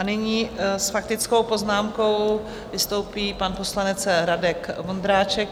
A nyní s faktickou poznámkou vystoupí pan poslanec Radek Vondráček.